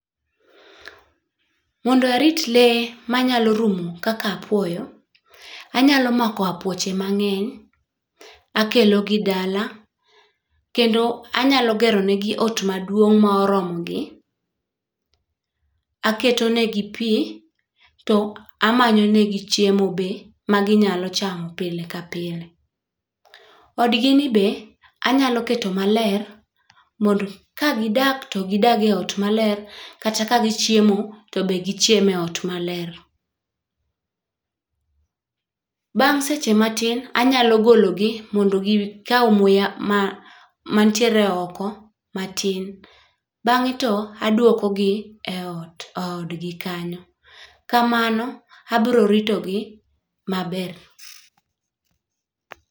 Mondo arit lee manyalo rumo kaka apuoyo, anyalo mako apuoche mang'eny, akelo gi dala kendo anyalo gero ne gi ot maduong' morogi, aketo ne gi pii to amanyo ne gi chiemo be ma ginyalo chamo pile ka pile. Odgi ni be anyalo keto maler mondo ka gidak to gidag e ot maler kata ka gichiemo to be gichiem e ot maler. Bang' seche matin anyalo golo gi mondo gikaw muya ma mantie oko matin bang'e to aduoko gi eot eodgi kanyo. Kamano abro rito gi maber.